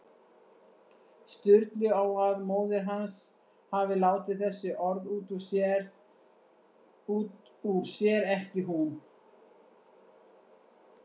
Sturlu á að móðir hans hafi látið þessi orð út úr sér, ekki hún.